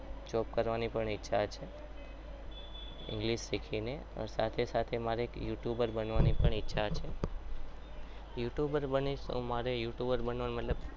Job કરવાની પણ ઈચ્છા છે english શીખીને સાથે સાથે મારે યુ ટુબર બનવાની ઈચ્છા છે. yotuber બનીશ તો મારે youtuber બનવાનું મતલબ